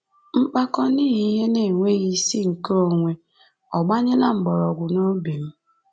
Mpako n’ihi ihe na-enweghi isi nke onwe ò gbanyela mkpọrọgwụ n’obi m?